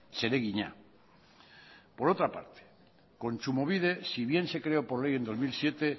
zeregina por otra parte kontsumobide si bien se creo por ley en dos mil siete